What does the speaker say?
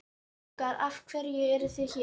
Strákar af hverju eruð þið hér?